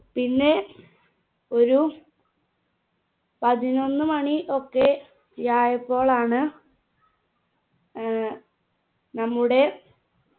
പിന്നെ ഒരു പതിനൊന്ന് മാണി ഒക്കെയായപ്പോളാണ് ഏർ നമ്മുടെ